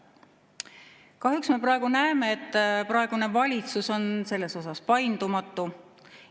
Kahjuks me praegu näeme, et praegune valitsus on selles paindumatu.